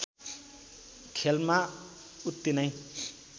खेलमा उत्ति नै